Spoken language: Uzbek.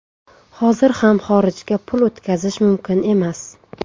Hozir ham xorijga pul o‘tkazish mumkin emas.